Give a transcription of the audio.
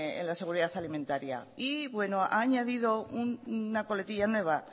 en la seguridad alimentaria y bueno ha añadido una coletilla nueva